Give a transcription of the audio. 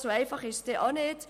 So einfach ist es nicht.